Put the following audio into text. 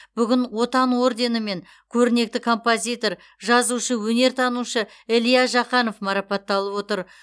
бүгін отан орденімен көрнекті композитор жазушы өнертанушы илья жақанов марапатталып отыр